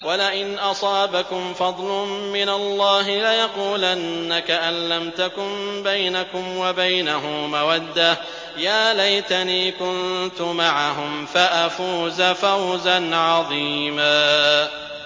وَلَئِنْ أَصَابَكُمْ فَضْلٌ مِّنَ اللَّهِ لَيَقُولَنَّ كَأَن لَّمْ تَكُن بَيْنَكُمْ وَبَيْنَهُ مَوَدَّةٌ يَا لَيْتَنِي كُنتُ مَعَهُمْ فَأَفُوزَ فَوْزًا عَظِيمًا